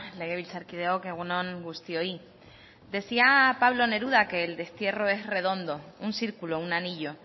legebiltzarkideok egun on guztioi decía pablo neruda que el destierro es redondo un circulo un anillo